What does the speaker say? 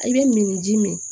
I bɛ min ni ji min